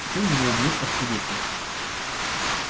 теперь его убьют как свидетеля